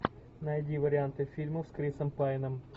найди варианты фильмов с крисом пайном